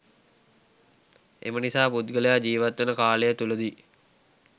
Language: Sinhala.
එමනිසා පුද්ගලයා ජීවත්වන කාලය තුළ දී